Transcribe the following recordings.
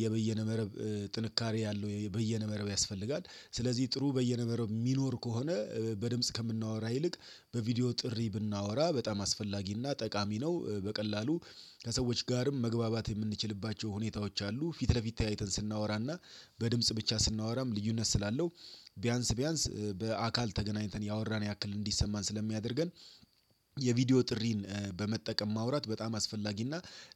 የበይነ መረብ ጥንካሬ ያለው በይነ መረብ ያስፈልጋል ስለዚህ ጥሩ በይነ መረብ የሚኖር ከሆነ በድምጽ ከምናወራ ይልቅ በቪዲዮ ጥሪ ብናወራ በጣም አስፈላጊና ጠቃሚ ነው። በቀላሉ ከሰዎች ጋርም መግባባት የምንችልባቸው ሁኔታዎች አሉ ፊት ለፊት ተያይተን ስናወራና በድምጽ ብቻ ስናወራም ልዩነት ስላለው። ቢያንስ ቢያንስ በአካል ተገናኝተን ያወራን ያክል እንዲሰማን ስለሚያደርገን። የቪዲዮ ጥሪን በመጠቀም ማውራት በጣም አስፈላጊና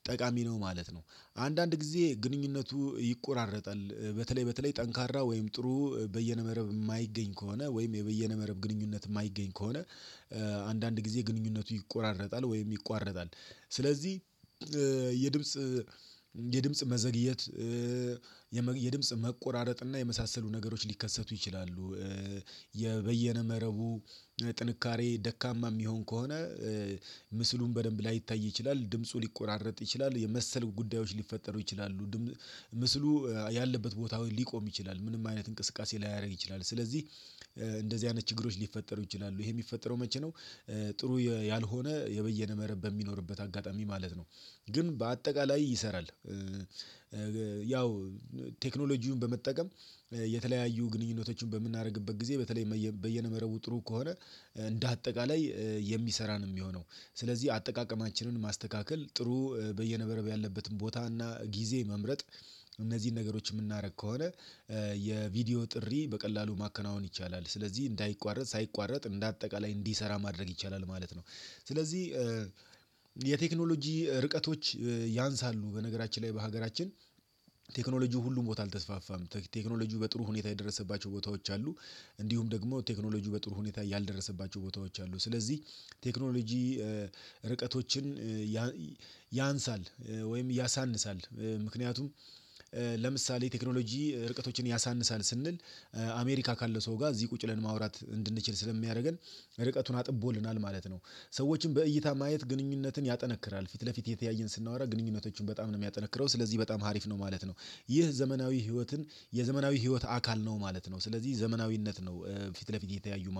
ጠቃሚ ነው ማለት ነው። አንዳንድ ጊዜ ግንኙነቱ ይቆራረጣል በተለይ በተለይ ጠንካራ ወይም ጥሩ በየነበረብ መረብ የማይገኝ ከሆነ ወይም የበየነ መረብ ግንኙነት የማይገኝ ከሆነ። አንዳንድ ጊዜ ግንኙነቱ ይቆራረጣል ወይም ይቋረጣል። ስለዚህ የድምጽ የድምጽ መዘግየት መቆራረጥና የመሳሰሉ ነገሮች ሊከሰቱ ይችላሉ። በይነ መረቡ ጥንካሬ ደካማ የሚሆን ከሆነ። ምስሉን በደንብ ላይታይ ይችላል ድምፁ ሊቆራረጥ ይችላል የመሰሉ ጉዳዮች ሊፈጠሩ ይችላሉ። ምስሉ ያለበት ቦታዎች ሊቆም ይችላል ምንም አይነት እንቅስቃሴ ላያደርግ ይችላል። ስለዚህ እንደዚህ አይነት ችግሮች ሊፈጠሩ ይችላሉ ይሄ የሚፈጠረው መቼ ነው? ጥሩ ያልሆነ የበይነ መረብ በሚኖርበት አጋጣሚ ማለት ነው። ግን በአጠቃላይ ይሰራል። ያው ቴክኖሎጂውን በመጠቀም የተለያዩ ግንኙነቶችን በምናደርግበት ጊዜ በተለይ በይነመረቡ ጥሩ ከሆነ እንደ አጠቃላይ የሚሰራ ነው የሚሆነው። ስለዚህ አጠቃቀማችንን ማስተካከል ጥሩ በይነመረብ ያለበትን ቦታ እና ጊዜ መምረጥ እነዚህን ነገሮች የምናደርግ ከሆነ። የቪዲዮ ጥሪ በቀላሉ ማከናወን ይቻላል ስለዚህ እንዳይቋረጥ ሳይቋረጥ እንደ አጠቃላይ እንዲሰራ ማድረግ ይቻላል ማለት ነው። ስለዚህ የቴክኖሎጂ ርቀቶች ያንሳሉ በነገራችን ላይ በሀገራችን። ቴክኖሎጂው ሁሉም ቦታ አልተስፋፋም ቴክኖሎጂው በጥሩ ሁኔታ የደረሰባቸው ቦታዎች አሉ። እንዲሁም ደግሞ ቴክኖሎጂው በጥሩ ሁኔታ ያልደረሰባቸው ቦታዎች አሉ ስለዚህ። ቴክኖሎጂ ርቀቶችን ያንሳል ወይም ያሳንሳል ምክንያቱም። ለምሳሌ ቴክኖሎጂ ርቀቶችን ያሳንሳል ስንል። አሜሪካ ካለ ሰው ጋር እዚህ ቁጭ ብለን ማውራት እንድንችል ስለሚያደርገን ርቀቱን አጥቦልናል ማለት ነው። ሰዎችን በእይታ ማየት ግንኙነትን ያጠነክራል። ፊት ለፊት የተያየን ስናወራ ግንኙነቶችን በጣም ነው የሚያጠነክረው ስለዚህ በጣም ሀሪፍ ነው ማለት ነው። ይህ ዘመናዊ ህይወትን የዘመናዊ ህይወት አካል ነው ማለት ነው። ስለዚህ ዘመናዊነት ነው ፊት ለፊት የተያዩ